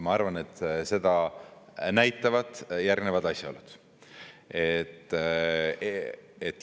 Ma arvan, et seda näitavad järgnevad asjaolud.